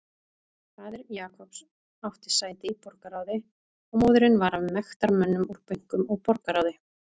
Faðir Jacobs átti sæti í borgarráði og móðirin var af mektarmönnum úr bönkum og borgarráði.